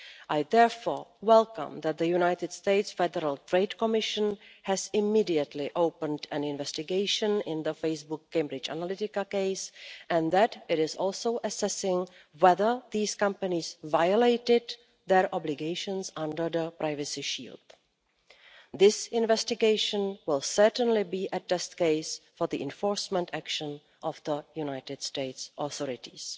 I therefore welcome that the United States Federal Trade Commission has immediately opened an investigation in the Facebook Cambridge Analytica case, and that it is also assessing whether these companies violated their obligations under the Privacy Shield. This investigation will certainly be a test case for the enforcement action of the United States authorities.